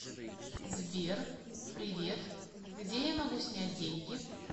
сбер привет где я могу снять деньги